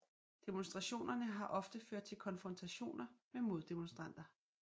Demonstrationerne har ofte ført til konfrontationer med moddemonstranter